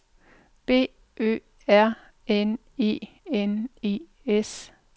B Ø R N E N E S